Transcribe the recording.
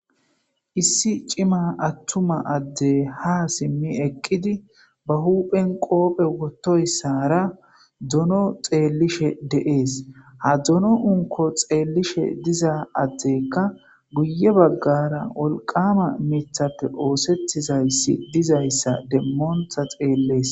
issi cima attuma adde ha simmi eqqidi ba huphen qoophe wottoyssara dono xeellishe deees ha dzono unko xeellishe diza addekka guye baggara wolqama mithappe oosettizayssi dizayssa demmooontha xeellees.